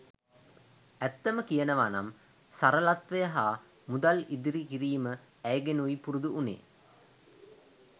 ඇත්තම කියනවා නම් සරලත්වය හා මුදල් ඉදිරි කිරිම ඇයගෙනුයි පුරුදු වුණේ.